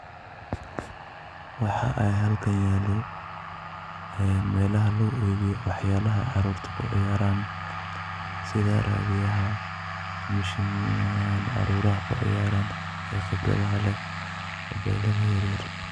Waxa ay halkan yaalo meelaha lagu iibiyo waxyaalaha caruurta ku ciyaaraan, sida raadiyaha, mashiinoyinka caruuraha ku ciyaaran khibradaha leh, mobeelada yeryer.